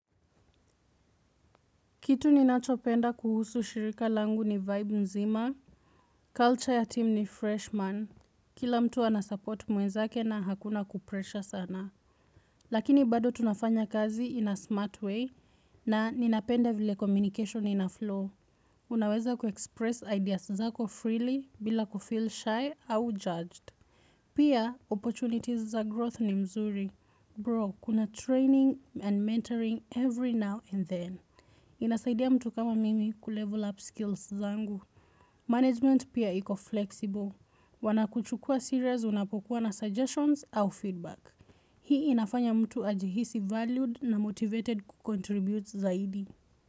Kitu ninachopenda kuhusu shirika langu ni vibe mzima. Culture ya team ni freshman. Kila mtu anasupport mwenzake na hakuna kupresha sana. Lakini bado tunafanya kazi in a smart way na ninapenda vile communication ina flow. Unaweza kuexpress ideas zako freely bila kufill shy au judged. Pia, opportunities za growth ni mzuri. Bro, kuna training and mentoring every now and then. Inasaidia mtu kama mimi kulevel up skills zangu. Management pia iko flexible. Wanakuchukua serious unapokuwa na suggestions au feedback. Hii inafanya mtu ajihisi valued na motivated kucontribute zaidi.